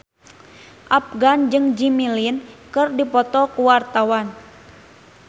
Afgan jeung Jimmy Lin keur dipoto ku wartawan